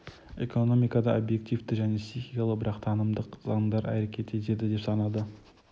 экономикада объективті және стихиялы бірақ танымдық заңдар әрекет етеді деп санады